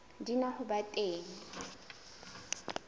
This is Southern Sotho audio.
di na ho ba teng